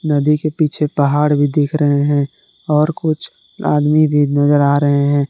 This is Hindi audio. नदी के पीछे पहाड़ भी दिख रहे हैं और कुछ आदमी भी नजर आ रहे हैं।